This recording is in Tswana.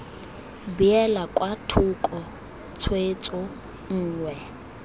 beelwa kwa thoko tshwetso nngwe